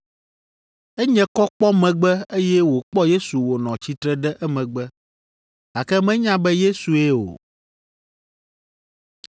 Enye kɔ kpɔ megbe, eye wòkpɔ Yesu wònɔ tsitre ɖe emegbe, gake menya be Yesue o.